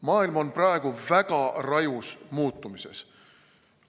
Maailm on praegu väga rajus muutumises.